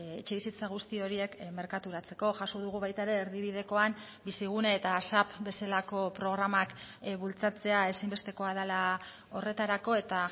etxebizitza guzti horiek merkaturatzeko jaso dugu baita ere erdibidekoan bizigune eta asap bezalako programak bultzatzea ezinbestekoa dela horretarako eta